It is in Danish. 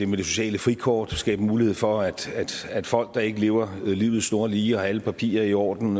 med det sociale frikort at skabe mulighed for at at folk der ikke lever livet snorlige eller har alle papirer i orden